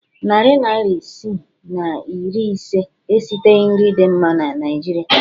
Narị naịra isi na iri ise esiteghi nri dị mma na Naịjirịa.